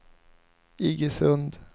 Iggesund